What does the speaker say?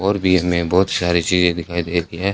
और भी हमें बहोत सारी चीजे दिखाई दे री है।